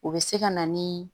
O bɛ se ka na ni